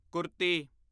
kurti